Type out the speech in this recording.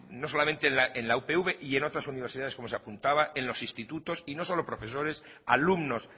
no solamente en la upv y en otras universidades como se apuntaba en los institutos y no solo profesores alumnos